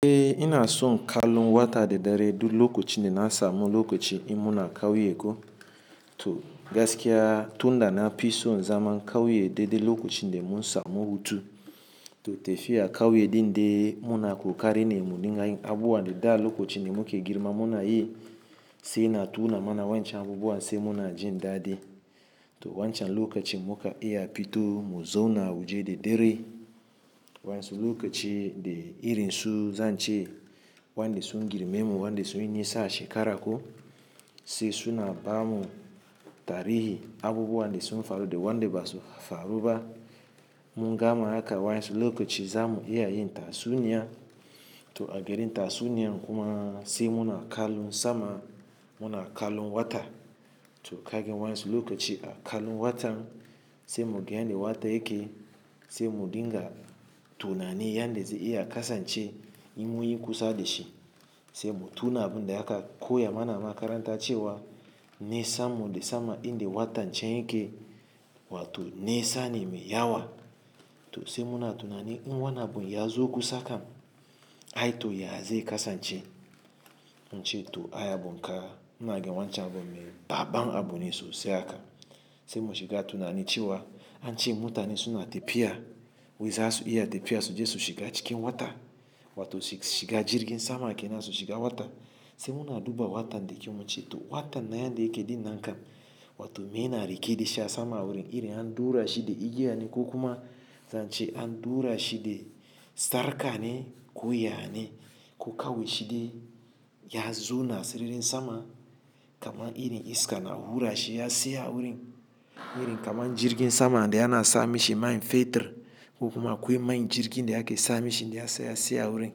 Eh ina so in kalu wata da dare duk lokaci da na samu lokaci in muna ƙauye ko. To gaskiya tun da na fi so zaman ƙauye daidai lokacin da mun samu hutu. To tafiya ƙauye ɗin dai muna ƙoƙari ne mu dinga yin abubuwan da da lokacin da muke girma muna yi, sai na tuna mana wancan abubuwan sai muna jin daɗi. To wancan lokacin muka iya fito mu zo na waje da dare. Wansu lokacin da irin su zance, wanda su girme mu, wanda su yi nisa a shekara ko. Sai suna bamu tarihi abubuwan da sun faru da wanda ba su faru ba. Mu gama haka wansu lokacin za mu iya yin tatsuniya. To a garin tatsuniyan kuma sai muna kalun sama, muna kalun wata. To kagin wansu lokacin a kalun watan sai mu ga yadda wata yake, sai mu dinga tunani yanda zai iya kasance in mun yi kusa da shi. Sai mu tuna abin da aka koya mana makaranta cewa, ni sammu da sama in da wata can yake, wato ni sane mai yawa. To sai muna tunani in wannan abu ya zo kusa kan, ai to ya zai kasance. Mun ce to ai abun ka, ina ga wancan abun ne banban abune sosai haka. Sai muke shiga tunani cewa, an ce mutane suna tafiya, wai za su iya tafiya su je su shiga cikin wata, wato shiga jirgin sama ke nan su shiga wata. Sai muna duba wata dakyau mu ce to watan nan yadda yake dinnan kan, wato me na rike da sha sama wurin irin an dura shi da igiya ne ko kuma, zan ce an dura shi da sarka ne ko ya ne, ko kawai shi de ya zo na siririn sama. Kaman irin iska na hura shi ya saya wurin. Irin kaman jirgin sama da yana sa mishi main fetur, ko kuma akwai main jirgin da yake sa mishi da ya saya wurin.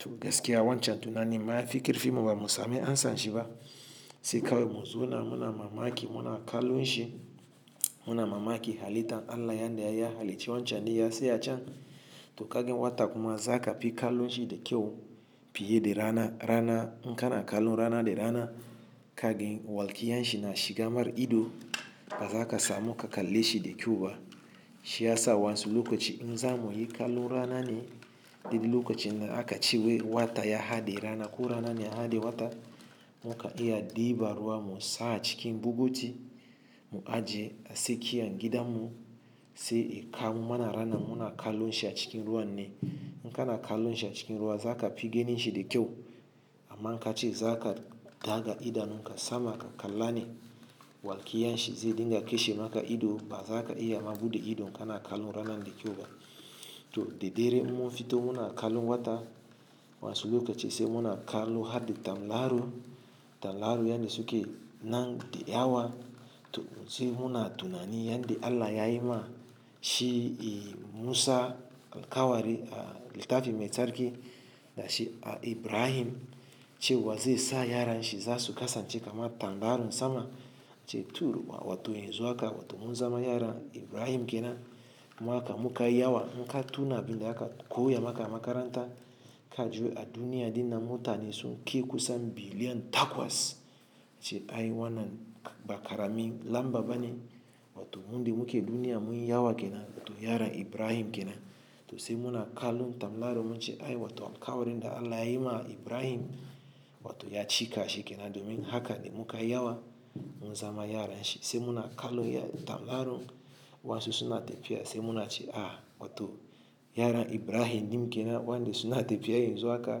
To gaskiya wancan tunani ma yafi karfi mu ba mu samu an san shi ba. Sai kawai mu zo na muna mamaki muna kalun shi, muna mamaki halittan Allah yanda yayi halicci wancan din ya saya can. To kagin wata kuma za ka fi kalun shi da kyau, fiye da rana rana inka na kalun rana da rana. Kagin walƙiyan shi na shiga mar ido, ba za ka samu ka kalle shi da kyau ba. Shi ya sa wansu lokacin in za mu yi kalun rana ne, duk lokacin da aka ce wa wata ya haɗe rana ko rana ne ya haɗe wata, muka iya diba ruwa mu sa a cikin buguti, mu ajiye a sikiyar gidan mu, sai a kamu mana rana muna kalun shi a cikin ruwan ne. Inka na kalun shi a cikin ruwa za ka fi ganin shi da kyau. Amma in ka ce za ka daga idanun ka sama ka kallani, walƙiyan shi zai dinga kashe maka ido ba za ka iya ma buɗe ido ka na kalun rana da kyau ba. To da dare mun fito muna kalun wata, wansu lokacin sai muna kalun hadda tamraro. Tamlaru yanda suke nan da yawa. To sai muna tunani yanda Allah yayi ma shi Musa alkawari a littafin Mai Tsarki, da shi Ibrahim cewa zai sa yaran shi za su kasance kamar tambarin sama. Ce turu uwa wato yanzu haka wato mun zama yaran Ibrahim ke nan. Muka muka yi yawa inka tuna abin da aka koya maka makaranta, ka ji a duniya dina mutane sun kai kusan billion takwas. Ce ai wannan ba karamin lamba bane. Wato munde muke duniya mun yi yawa ke nan to yaran Ibrahim ke nan. To sai muna kalun tamlarun mun ce ai wato alkawarin da Allah yayi ma Ibrahim, wato ya cika shi ke nan domin haka ne muka yi yawa mun zama yaran shi. Sai muna kalun tamlarun wansu suna tafiya sai muna ce a, wato yaran Ibrahim din ke nan wanda suna tafiya yan zu haka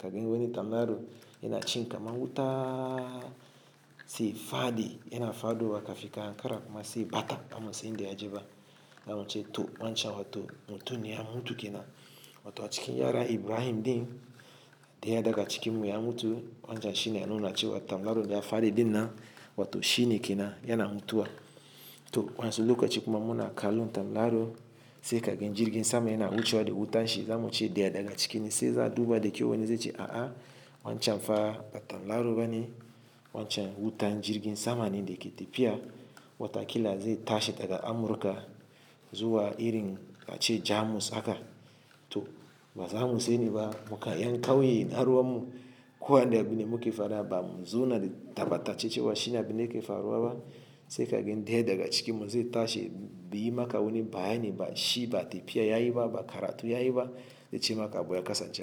kagin wannan tamlaru yana cin kamar wuta sai fadi yana fado ka fika kankara kuma sai bata, bansan inda ya je ba. Na mun ce to wancan wato mutum ne ya mutu ke nan. Wato a cikin yaran Ibrahim din, da ya daga cikin mu ya mutu wancan shine ya nuna ce wa to tamlaru da ya fadi dinan, wato shine ke nan yana mutuwa. To wansu lokacin kuma muna kalun tamlaru, sai kagin jirgin sama yana wucewa da wutan shi za mu ce dya daga cikin shi sai za a duba da kyau wannan zai ce a a wancan fa ba tamlaru bane. Wancan wutan jirgin sama ne da ke tafiya, wataƙila zai tashi daga Amurka zuwa irin a ce Jamus haka. To ba za mu sani ba muka yan ƙauye na ruwan mu, ko wanda abinda muke fara ba mu zo na da tabata cewa shine abin da yake faruwa ba. Sai kagin daya daga ciki mu zai tashi beyi maka wanni bayani shi ba tafiya yayi ba ba karatu yayi ba, zai ce maka abu ya kasance haka.